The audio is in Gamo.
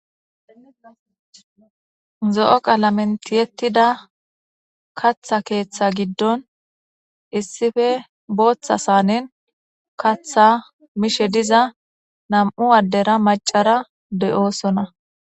Zo'o qalamentiyettida katha keeththa giddon issife booththa saanin katha mishe diza nam'u addera macara de'oosona.